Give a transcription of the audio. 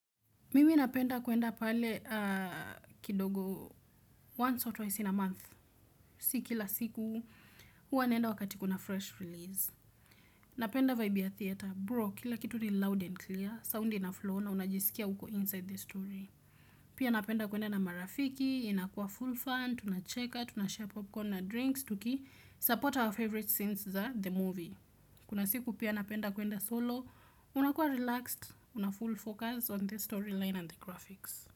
Mimi napenda kuenda pale kidogo once or twice in a month. Si kila siku, huwa naenda wakati kuna fresh release. Napenda vibe ya theater, bro, kila kitu ni loud and clear, sound inaflow na unajisikia uko inside the story. Pia napenda kuenda na marafiki, inakuwa full fun, tunacheka, tunashare popcorn na drinks, tuki support our favorite scenes za the movie. Kuna siku pia napenda kuenda solo, unakuwa relaxed, una full focus on the storyline and the graphics.